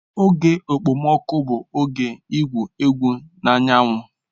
Oge okpomọkụ bụ oge igwu egwu na anyanwụ.